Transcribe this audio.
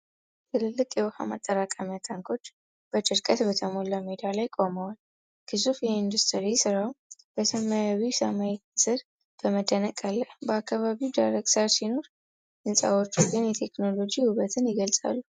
ትልልቅ የውሃ ማጠራቀሚያ ታንኮች በድርቀት በተሞላ ሜዳ ላይ ቆመዋል። ግዙፍ የኢንጂነሪንግ ስራው በሰማያዊው ሰማይ ሥር በመደነቅ አለ። በአካባቢው ደረቅ ሳር ሲኖር፣ ሕንጻዎቹ ግን የቴክኖሎጂ ውበትን ይገልጻሉ።